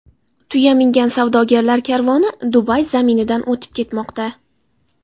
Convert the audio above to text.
Tuya mingan savdogarlar karvoni Dubay zaminidan o‘tib ketmoqda.